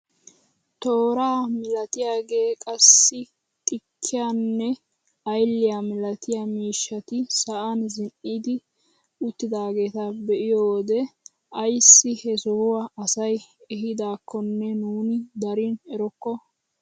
Tooraa milatiyaagee, qassi xikkiyaanne ayliyaa milatiyaa miishshati sa'aan zin"idi uttidaageta be'iyoo wode ayssi he sohuwaa asay eehidaakonne nuuni darin erokko!